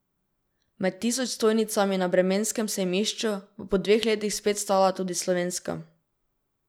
Med tisoč stojnicami na bremenskem sejmišču bo po dveh letih spet stala tudi slovenska.